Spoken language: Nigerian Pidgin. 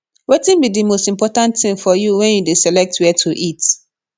wetin be di most important thing for you when you dey select where to eat